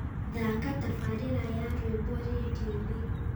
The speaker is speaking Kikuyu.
thaaka tabarĩra ya rwĩmbo rĩndiũ-inĩ